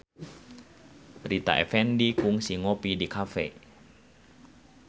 Rita Effendy kungsi ngopi di cafe